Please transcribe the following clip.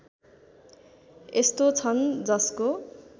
यस्तो छन् जसको